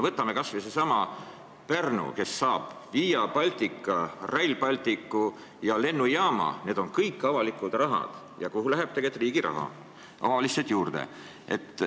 Võtame kas või sellesama Pärnu, kes saab Via Baltica, Rail Balticu ja lennujaama – need on kõik avalikud teenused ja nende eest läheb tegelikult riigi raha omavalitsusele lihtsalt juurde.